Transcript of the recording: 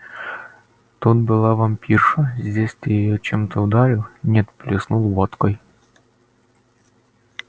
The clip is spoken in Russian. тут была вампирша здесь ты её чем-то ударил нет плеснул водкой